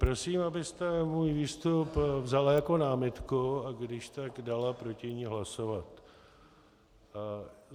Prosím, abyste můj výstup vzala jako námitku a když tak dala proti ní hlasovat.